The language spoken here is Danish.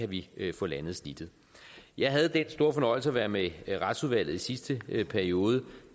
vi kan få landet snittet jeg havde den store fornøjelse at være med retsudvalget i sidste periode